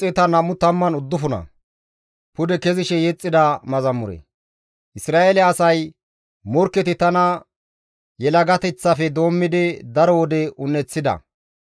Isra7eele asay, «Morkketi tana yelagateththafe doommidi daro wode un7eththida.